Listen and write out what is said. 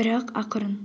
бірақ ақырын